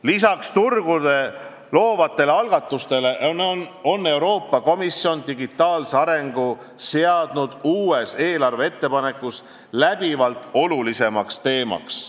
Lisaks turgu loovatele algatustele on Euroopa Komisjon digitaalse arengu seadnud uues eelarveettepanekus läbivalt oluliseks teemaks.